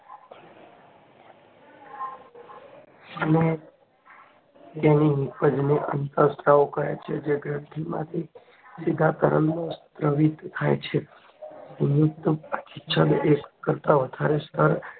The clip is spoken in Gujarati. અને તેની નીપજ ને અંતઃસ્ત્રાવ કહે છે જે ગ્રંથિમાં સીધા તરલમાં સ્તાવીત નિયુક્ત અભિચ્છદ એક કરતા વધારે સ્તર